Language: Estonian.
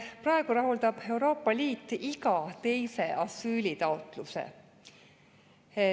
Praegu rahuldab Euroopa Liit iga teise asüülitaotluse.